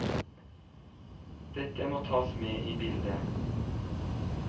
Dette må tas med i bildet.